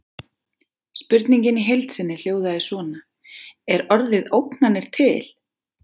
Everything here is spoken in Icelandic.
Spurningin í heild sinni hljóðaði svona: Er orðið ógnanir til?